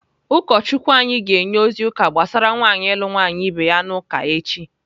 Ụkọchukwu anyị ga-enye ozi ụka gbasara nwaanyị ịlụ nwaanyị ibe ya n'uka echi.